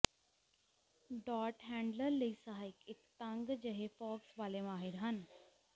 dot handler ਲਈ ਸਹਾਇਕ ਇਹ ਤੰਗ ਜਿਹੇ ਫੋਕਸ ਵਾਲੇ ਮਾਹਿਰ ਹਨ